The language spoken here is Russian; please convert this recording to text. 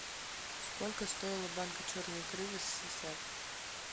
сколько стоила банка черной икры в ссср